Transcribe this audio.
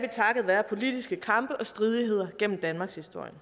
takket være politiske kampe og stridigheder gennem danmarkshistorien